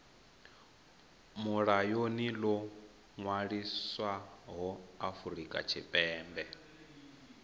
mulayoni ḽo ṅwaliswaho afrika tshipembe